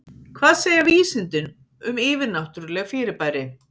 Hvað segja vísindin um yfirnáttúrleg fyrirbæri?